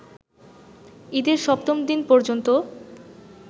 ঈদের সপ্তম দিন পর্যন্ত